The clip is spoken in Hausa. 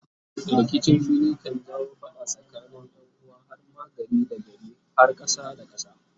rikicin fili kan jawo fada tsakanin yanuwa har ma gari da gari kar har kasa da kasa